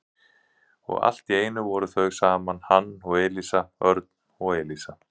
Og allt í einu voru þau saman, hann og Elísa, Örn og Elísa.